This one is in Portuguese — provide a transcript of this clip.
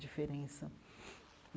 Diferença.